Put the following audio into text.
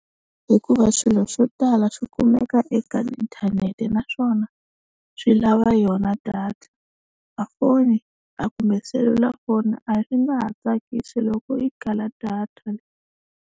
Hikuva swilo swo tala swi kumeka eka inthanete naswona swi lava yona data a foni a kumbe selulafoni a swi nga ha tsakisi loko yi kala data.